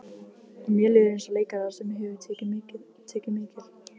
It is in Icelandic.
Og mér líður eins og leikara sem hefur tekið mikil